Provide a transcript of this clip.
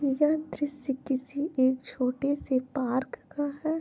यह दृश्य किसी एक छोटे से पार्क का है।